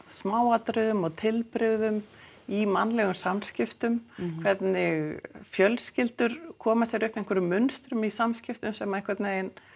smáatriðum og tilbrigðum í mannlegum samskiptum hvernig fjölskyldur koma sér upp einhverju mynstrum í samskiptum sem einhvern veginn